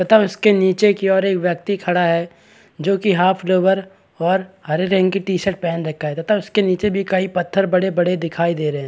तथा उसके नीचे की ओर एक व्यक्ति खड़ा है जोकि हाफ़ लोवर और हरे रंग की टी _शर्ट पहन रखा है तथा उसके नीचे भी कई पत्थर बड़े -बड़े दिखाई दे रहे हैं ।